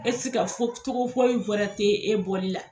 E tɛ se ka fɔ cogo foyi wɛrɛ tɛ e bɔli la.